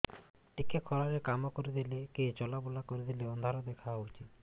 ଟିକେ ଖରା ରେ କାମ କରିଦେଲେ କି ଚଲବୁଲା କରିଦେଲେ ଅନ୍ଧାର ଦେଖା ହଉଚି